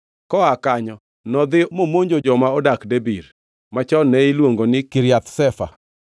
Koa kanyo nodhi momonjo joma odak Debir (machon ne iluongo ni Kiriath Sefa).